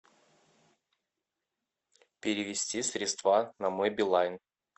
перевести средства на мой билайн